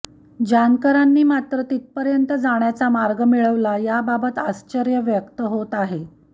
जानकरांनी मात्र तिथपर्यंत जाण्याचा मार्ग मिळवला याबाबत आश्चर्य व्यक्त होत आहे